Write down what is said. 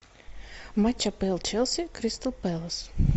матч апл челси кристал пэлас